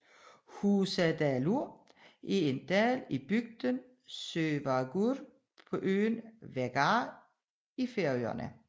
Húsadalur er en dal i bygden Sørvágur på øen Vágar i Færøerne